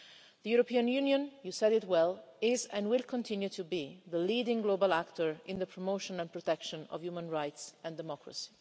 The European Union you said it well is, and will continue to be, the leading global actor in the promotion and protection of human rights and democracy.